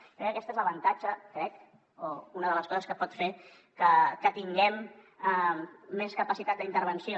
jo crec que aquest és l’avantatge crec o una de les coses que pot fer que tinguem més capacitat d’intervenció